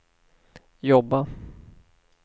jobba